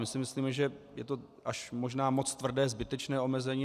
My si myslíme, že je to až možná moc tvrdé, zbytečné omezení.